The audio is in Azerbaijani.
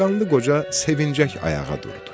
Qanlı Qoca sevincək ayağa durdu.